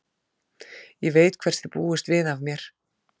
Ég veit hvers þið búist við af mér.